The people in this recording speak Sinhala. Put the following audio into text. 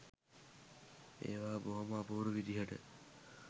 ඒවා බොහොම අපූරු විදිහට